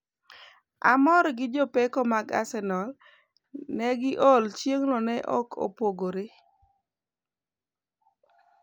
Mourinho:amor gi jopeko mag arsenali. negi or chieng'no ne ok opogore.